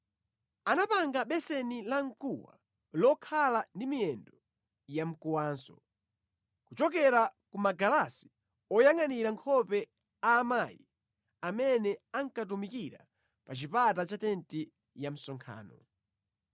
Anapanga beseni lamkuwa lokhala ndi miyendo yamkuwanso kuchokera ku magalasi oyangʼanira nkhope a amayi amene ankatumikira pa chipata cha tenti ya msonkhano.